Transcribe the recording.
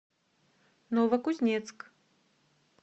новокузнецк